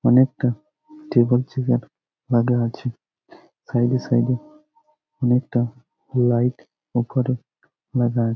অনেকটা table chair লাগা আছে সাইড এ সাইড এ অনেকটা লাইট ওপরে লাগা--